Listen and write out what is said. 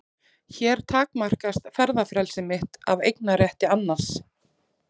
Hér takmarkast ferðafrelsi mitt af eignarétti annars.